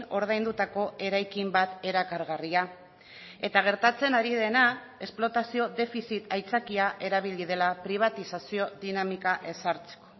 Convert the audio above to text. ordaindutako eraikin bat erakargarria eta gertatzen ari dena esplotazio defizit aitzakia erabili dela pribatizazio dinamika ezartzeko